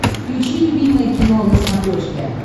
включи любимое кино на смотрешке